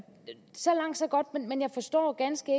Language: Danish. så langt så godt men jeg forstår ganske